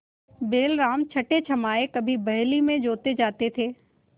बैलराम छठेछमाहे कभी बहली में जोते जाते थे